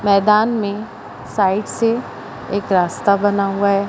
मैदान में साइड से एक रास्ता बना हुआ है।